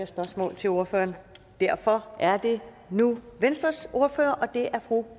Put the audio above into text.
spørgsmål til ordføreren derfor er det nu venstres ordfører fru